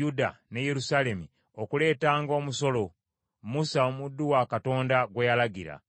Yuda ne Yerusaalemi okuleetanga omusolo, Musa omuddu wa Katonda gwe yalagira?”